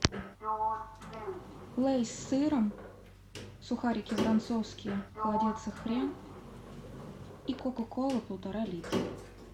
лейс с сыром сухарики воронцовские холодец и хрен и кока кола полтора литра